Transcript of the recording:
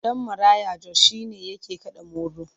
Ɗan maraya Jos shi ne yake kaɗa molo.